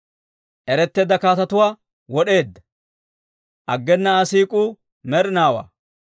Eretteedda kaatetuwaa wod'eedda; aggena Aa siik'uu med'inaawaa.